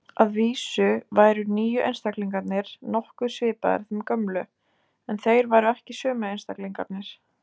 Að vísu væru nýju einstaklingarnir nokkuð svipaðir þeim gömlu, en þeir væru ekki sömu einstaklingarnir.